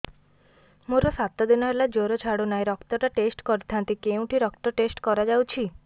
ମୋରୋ ସାତ ଦିନ ହେଲା ଜ୍ଵର ଛାଡୁନାହିଁ ରକ୍ତ ଟା ଟେଷ୍ଟ କରିଥାନ୍ତି କେଉଁଠି ରକ୍ତ ଟେଷ୍ଟ କରା ଯାଉଛି